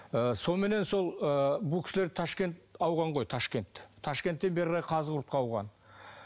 ы соныменен сол ы бұл кісілер ташкент ауған ғой ташкент ташкенттен бері қарай қазығұртқа ауған